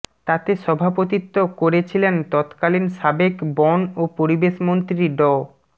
তাতে সভাপতিত্ব করেছিলেন তৎকালীন সাবেক বন ও পরিবেশ মন্ত্রী ড